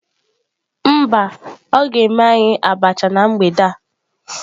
Mba, o ga eme anyi abacha na mgbede a